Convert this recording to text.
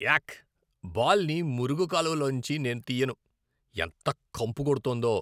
యాక్, బాల్ని మురుగు కాలువ లోంచి నేను తియ్యను. ఎంత కంపు కొడుతోందో.